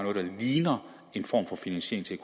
ligner en form for finansiering til